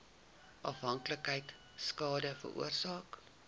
afhanklikheid skade veroorsaak